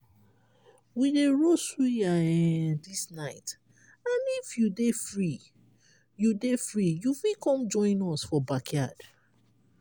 we dey roast suya um dis night and if you dey free you dey free you fit con join us for backyard.